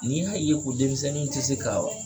N'i y'a ye ko denmisɛnninw ti se ka